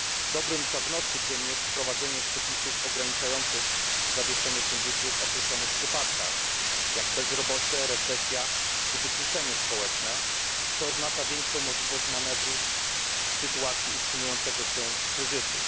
Dobrym prognostykiem jest wprowadzenie przepisów ograniczających zawieszenie funduszy w określonych przypadkach, jak bezrobocie, recesja czy wykluczenie społeczne, co oznacza większą możliwość manewru w sytuacji utrzymującego się kryzysu.